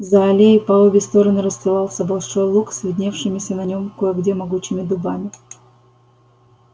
за аллеей по обе стороны расстилался большой луг с видневшимися на нём кое где могучими дубами